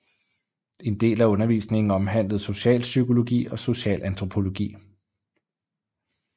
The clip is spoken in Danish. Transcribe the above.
En del af undervisningen omhandlede socialpsykologi og socialantropologi